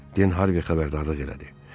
Den Harvi xəbərdarlıq elədi.